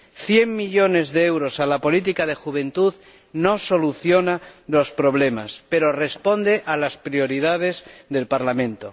Cien millones de euros a la política de juventud no solucionan los problemas, pero responden a las prioridades del Parlamento.